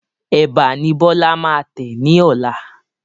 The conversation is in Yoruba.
Ẹ̀bà ni Bọlá máa tẹ ni ọ̀la